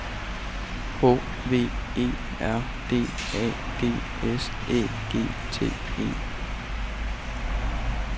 H V E R D A G S Æ G T E